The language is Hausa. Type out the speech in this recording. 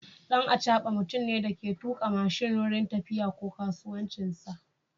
Dan acaba mutumne Dake tuka mashin wurin tafiya ko kasuwancinsa